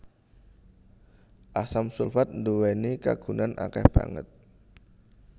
Asam sulfat nduwèni kagunan akèh banget